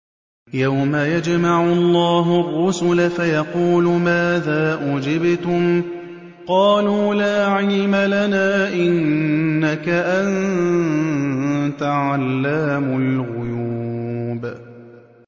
۞ يَوْمَ يَجْمَعُ اللَّهُ الرُّسُلَ فَيَقُولُ مَاذَا أُجِبْتُمْ ۖ قَالُوا لَا عِلْمَ لَنَا ۖ إِنَّكَ أَنتَ عَلَّامُ الْغُيُوبِ